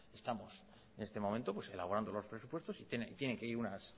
que estamos en este momento pues elaborando los presupuestos y tienen que ir